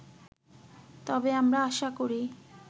তবে আমরা আশা করি